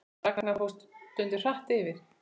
Ragnar fór stundum hratt yfir.